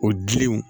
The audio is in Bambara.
O dilenw